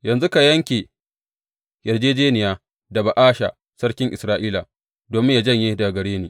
Yanzu ka yanke yarjejjeniya da Ba’asha sarkin Isra’ila domin yă janye daga gare ni.